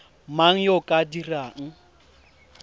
mang yo o ka dirang